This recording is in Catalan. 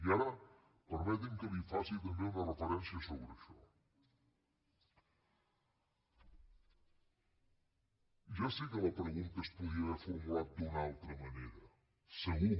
i ara permeti’m que li faci també una referència sobre això ja sé que la pregunta es podria haver formulat d’una altra manera segur